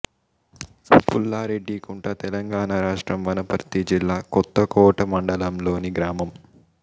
పుల్లారెడ్డికుంట తెలంగాణ రాష్ట్రం వనపర్తి జిల్లా కొత్తకోట మండలంలోని గ్రామం